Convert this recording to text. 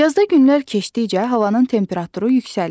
Yazda günlər keçdikcə havanın temperaturu yüksəlir.